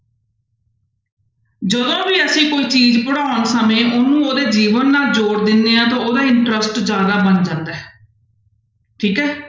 ਜਦੋਂ ਵੀ ਅਸੀਂ ਕੋਈ ਚੀਜ਼ ਪੜ੍ਹਾਉਣ ਸਮੇਂ ਉਹਨੂੰ ਉਹਦੇ ਜੀਵਨ ਨਾਲ ਜੋੜ ਦਿੰਦੇ ਹਾਂ ਤਾਂ ਉਹਦਾ interest ਜ਼ਿਆਦਾ ਬਣ ਜਾਂਦਾ ਹੈ ਠੀਕ ਹੈ।